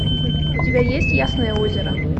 у тебя есть ясное озеро